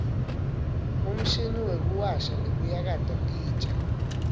umshini wekuwasha nekuyakata titja